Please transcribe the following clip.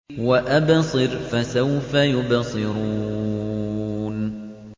وَأَبْصِرْ فَسَوْفَ يُبْصِرُونَ